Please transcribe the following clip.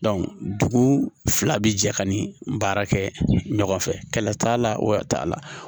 dugu fila bi jɛ ka ni baara kɛ ɲɔgɔn fɛ kɛlɛ t'a la o yɛrɛ t'a la